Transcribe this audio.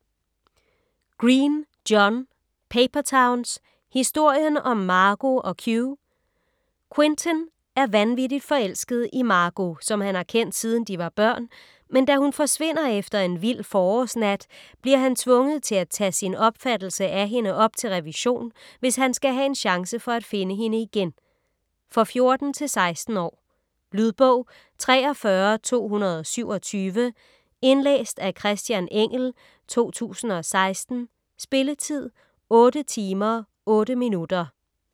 Green, John: Paper towns: historien om Margo & Q Quentin er vanvittig forelsket i Margo, som han har kendt siden de var børn, men da hun forsvinder efter en vild forårsnat bliver han tvunget til at tage sin opfattelse af hende op til revision, hvis han skal have en chance for at finde hende igen. For 14-16 år. Lydbog 43227 Indlæst af Christian Engell, 2016. Spilletid: 8 timer, 8 minutter.